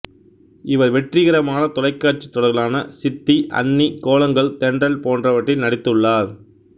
இவர் வெற்றிகரமான தொலைக்காட்சித் தொடர்களான சித்தி அண்ணி கோலங்கள் தென்றல் போன்றவற்றில் நடித்துள்ளார்